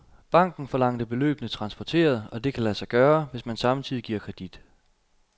Banken forlangte beløbene transporteret, og det kan lade sig gøre, hvis man samtidig giver kredit.